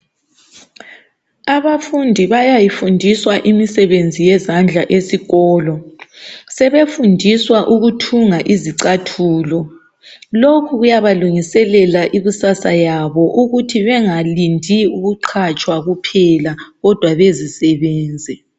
Abafundi bayayifundiswa imisebenzi yezandla esikolo. Sebefundiswa ukuthunga izicathulo. Lokhu kuyabalungiselela ikusasa yabo ukuthi bengalindi ukuqhatshwa kuphela, kodwa bezisebenze.